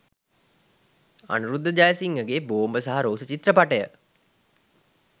අනුරුද්ධ ජයසිංහගේ ‘‘බෝම්බ සහ රෝස’’චිත්‍රපටය